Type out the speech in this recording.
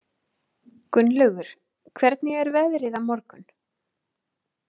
Gunnlaugur, hvernig er veðrið á morgun?